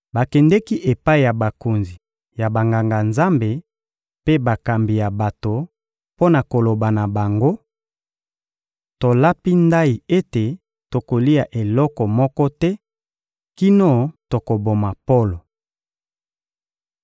Bakendeki epai ya bakonzi ya Banganga-Nzambe mpe bakambi ya bato mpo na koloba na bango: — Tolapi ndayi ete tokolia eloko moko te kino tokoboma Polo.